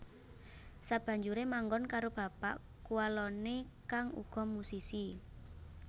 Sabanjuré manggon karo bapak kuwaloné kang uga musisi